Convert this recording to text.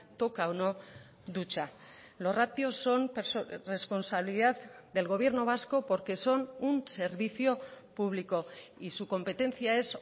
toca o no ducha los ratios son responsabilidad del gobierno vasco porque son un servicio público y su competencia es